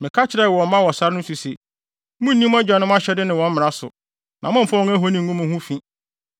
Meka kyerɛɛ wɔn mma wɔ sare no so se, “Munnni mo agyanom ahyɛde ne wɔn mmara so, na mommfa wɔn ahoni ngu mo ho fi.